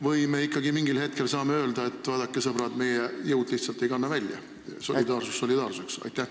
Või me ikkagi mingil hetkel saame öelda, et vaadake, sõbrad, meie jõud lihtsalt ei kanna välja – solidaarsus solidaarsuseks?